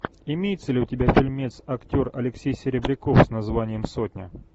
имеется ли у тебя фильмец актер алексей серебряков с названием сотня